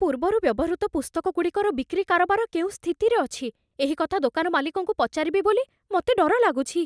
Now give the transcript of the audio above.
ପୂର୍ବରୁ ବ୍ୟବହୃତ ପୁସ୍ତକଗୁଡ଼ିକର ବିକ୍ରି କାରବାର କେଉଁ ସ୍ଥିତିରେ ଅଛି, ଏହି କଥା ଦୋକାନ ମାଲିକଙ୍କୁ ପଚାରିବି ବୋଲି ମୋତେ ଡର ଲାଗୁଛି।